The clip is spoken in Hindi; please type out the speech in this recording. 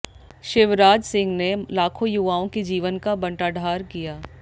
शिवराज सिंह ने लाखों युवाओं के जीवन का बंटाढार किया